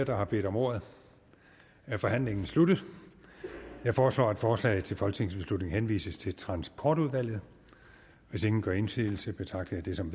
der har bedt om ordet er forhandlingen sluttet jeg foreslår at forslaget til folketingsbeslutning henvises til transportudvalget hvis ingen gør indsigelse betragter jeg det som